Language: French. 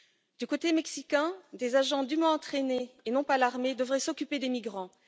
Du côté mexicain, des agents dûment entraînés, et non pas l'armée, devraient s'occuper des migrants.